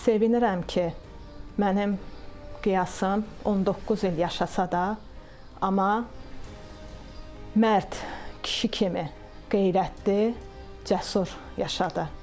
Sevinirəm ki, mənim Qiyasım 19 il yaşasa da, amma mərd kişi kimi qeyrətli, cəsur yaşadı.